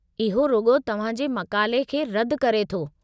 इहो रुॻो तव्हां जे मक़ाले खे रदि करे थो।